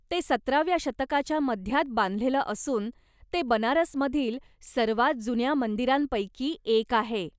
ते सतराव्या शतकाच्या मध्यात बांधलेलं असून ते बनारसमधील सर्वात जुन्या मंदिरांपैकी एक आहे.